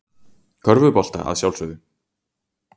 Körfubolta að sjálfsögðu.